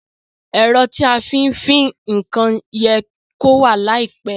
Èro tí a fí n fin nkan ye kó wà láìpe